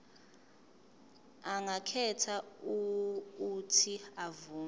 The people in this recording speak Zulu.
angakhetha uuthi avume